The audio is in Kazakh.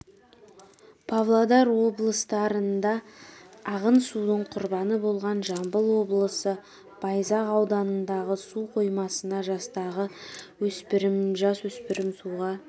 павлодар облыстарында ағын судың құрбаны болған жамбыл облысы байзақ ауданындағы су қоймасына жастағы жасөспірім суға